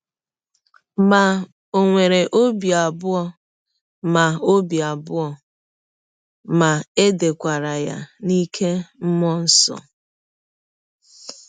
Ma, ọ nwere ọbi abụọ ma ọbi abụọ ma è dekwara ya n’ike mmụọ nsọ.